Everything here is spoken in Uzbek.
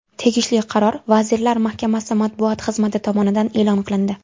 Tegishli qaror vazirlar mahkamasi matbuot xizmati tomonidan e’lon qilindi.